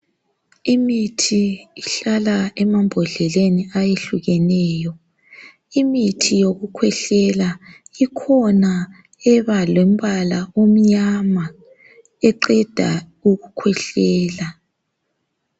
Imithi ihlala emambodleleni ayehlukeneyo. Imithi yokukhwehlela ikhona ebalombala omnyama eqeda ukukhwehlela.